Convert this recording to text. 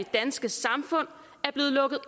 danske samfund er blevet lukket